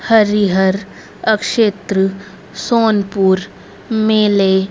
हरिहर आवक्षेत्र सोनपुर मेंले--